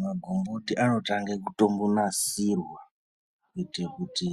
Magomboti anotange kutombonasirwa kuitire kuti